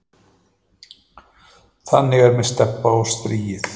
Þannig er með Stebba og strýið.